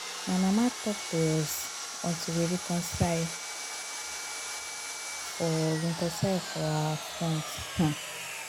my mama talk to us until we reconcile for reconcile for her front um